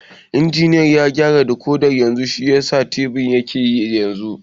Injiniya ya gyara dikodin yanzu shiyasa tibin yake yi yanzu